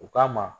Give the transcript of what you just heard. U ka ma